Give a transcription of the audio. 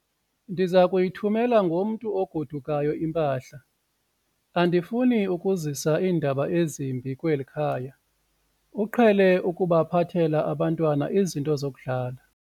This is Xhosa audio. Ndiza kuyithumela ngomntu ogodukayo impahla. andifuni ukuzisa iindaba ezimbi kweli khaya, uqhele ukuphathela abantwana izinto zokudlala